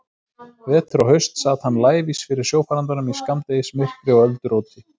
Vetur og haust sat hann lævís fyrir sjófarandanum í skammdegismyrkri og ölduróti.